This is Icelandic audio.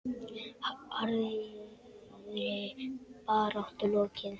Harðri baráttu lokið.